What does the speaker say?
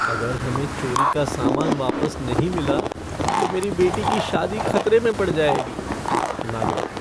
अगर हमें चोरी का सामान वापस नहीं मिला तो मेरी बेटी की शादी खतरे में पड़ जाएगी। नागरिक